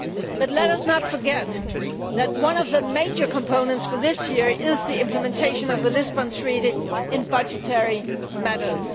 But let us not forget that one of the major components for this year is the implementation of the Lisbon Treaty in budgetary matters.